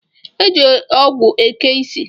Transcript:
E ji owu eke ịsị